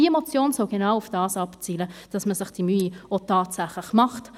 Diese Motion soll genau darauf abzielen, dass man sich diese Mühe auch tatsächlich macht.